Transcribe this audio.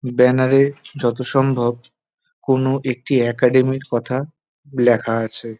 Banner এ যত সম্ভব কোন একটি একাডেমী র কথা লেখা আছে।